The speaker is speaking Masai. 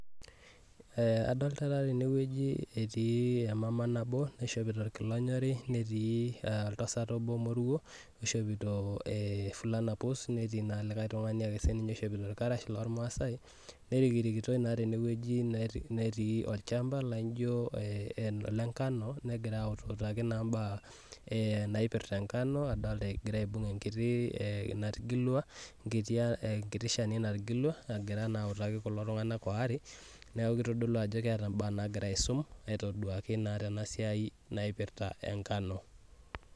Eeh adoolta tene wueji etii emama nabo nishopito irkilani aare, netii oltasat obo moruo, oishopito efulana pus, neti naa likae tung'ani ake oishopito irkarash loormaasaae. Nerikirikitoi naa tene wueji netii olchampa laijo ole nkano negira autuutaki naa mbaa naipirta engano. Adolita egira aibung' enkiti natigilua, enkiti shani natigilua egira autaki naa kulo tung'anak aare, neeku kitodolu ajo keeta mbaa naagira aisum aitoduaaki naa te siai naipirta engano.